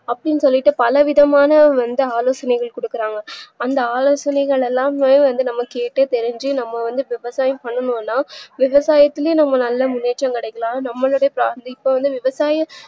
அப்டின்னு சொல்லிட்டு பலவிதமான வந்து ஆலோசனைகள் குடுக்குறாங்க அந்த ஆலோசனைகள் எல்லாமே வந்து நம்மகெட்டு தெரிஞ்சு நம்ம வந்து விவசாயம் பண்ணுனோம்னா விவசாயத்துலய்ம் நம்ம நல்ல முன்னேற்றம் கிடைக்கலாம் நம்மலோடைய family இப்போ வந்து விவசாயம்